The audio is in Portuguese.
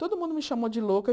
Todo mundo me chamou de louca.